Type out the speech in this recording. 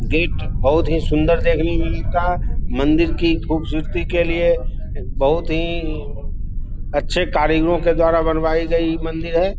Gate बहुत ही सुन्दर देखने में मिलता है मंदिर की खूबसूरती के लिए बहुत ही अच्छी कारीगरों के द्वारा बनवाई गई मंदिर है।